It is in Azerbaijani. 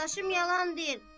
Dadaşım yalan deyir.